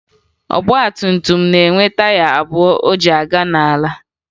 Ọgbatumtum na-enwe taya abụọ o ji aga n'ala